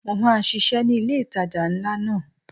Mo máa ṣisẹ́ ni ilé ìtajà ńlá náà.